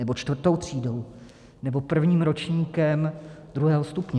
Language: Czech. Nebo čtvrtou třídou nebo prvním ročníkem druhého stupně?